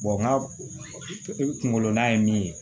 n ka kungolo nan ye min ye